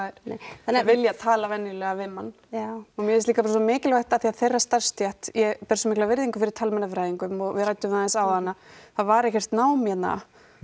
nei þau vilja tala venjulega við mann já og mér finnst líka bara svo mikilvægt af því að þeirra starfsstétt ég ber svo mikla virðingu fyrir talmeinafræðingum og við ræddum það aðeins áðan að það var ekkert nám hérna